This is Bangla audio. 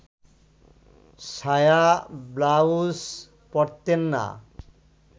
সায়া-ব্লাউজ পরতেন না